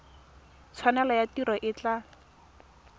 tshwanelo ya tiro e tla